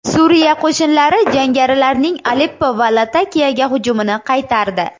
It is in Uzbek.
Suriya qo‘shinlari jangarilarning Aleppo va Latakiyaga hujumini qaytardi.